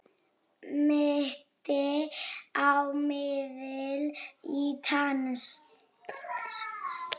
Minnti á miðil í trans.